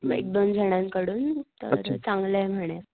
एक दोन जणांन कडून तर चांगलंय म्हणे.